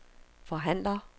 forhandler